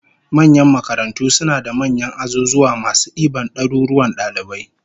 Manyan makarantu suna da manyan azuzuwa masu diban daruruwan dalibai